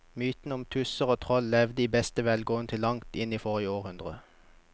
Mytene om tusser og troll levde i beste velgående til langt inn i forrige århundre.